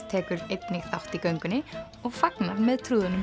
tekur einnig þátt í göngunni og fagnar með